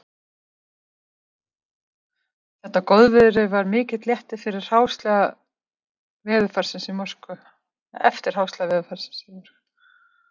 Þetta góðviðri var mikill léttir eftir hráslaga veðurfarsins í Moskvu